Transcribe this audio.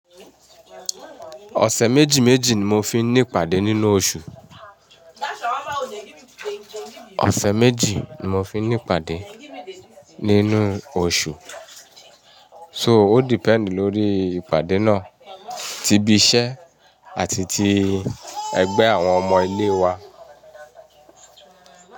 Ọ̀sẹ̀ méjì méjì ni mo fi ní ìpàdé nínú oṣù. Ọ̀sẹ̀ méjì ni mo fi ní ìpàdé nínú oṣù. So ó depend lórí ìpàdé náà, ti ibi iṣẹ́ àti ti ẹgbẹ́ àwọn ọmọ ilé wa.